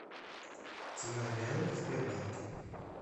цена реалов в сбербанке